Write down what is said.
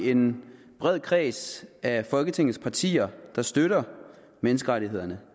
en bred kreds af folketingets partier der støtter menneskerettighederne